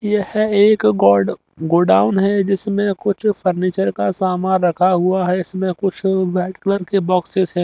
यह एक गोड गोडाउन है जिसमें कुछ फर्नीचर का सामान रखा हुआ है इसमें कुछ वाइट कलर के बॉक्सेस हैं।